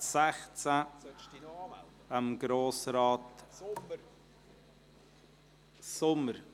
Falls der Grosse Rat Traktandum 16 (RRB 26/2019: Münchenbuchsee, Buechlimatt, Strassenverkehrs- und Schifffahrtsamt (SVSA)